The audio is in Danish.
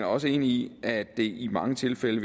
også enig i at det i mange tilfælde